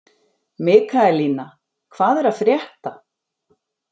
Mikaelína, hvað er að frétta?